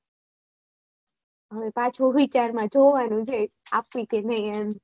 હવે પાછો વિચાર માં જોવાનું છે કે આપવી કે નઈ એમ